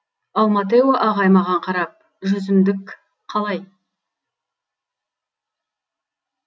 ал маттео ағай маған қарап жүзімдік қалай